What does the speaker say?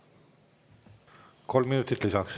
Kolm minutit lisaks.